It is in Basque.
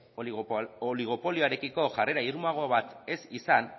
oligopolioarekiko jarrera irmoago bat ez izan